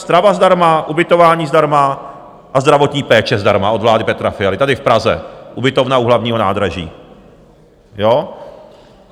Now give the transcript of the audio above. Strava zdarma, ubytování zdarma a zdravotní péče zdarma od vlády Petra Fialy, tady v Praze, ubytovna u Hlavního nádraží.